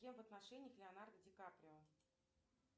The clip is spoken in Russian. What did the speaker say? с кем в отношениях леонардо ди каприо